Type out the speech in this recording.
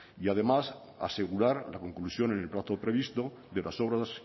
y además asegurar la conclusión en el plazo previsto de las obras